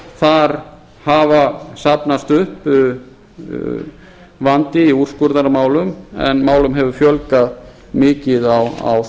þar hafa safnast upp vandi í úrskurðarmálum en málum hefur fjölgað mikið á